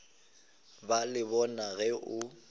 ba le bona ge o